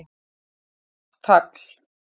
Hátt tagl